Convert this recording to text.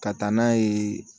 Ka taa n'a ye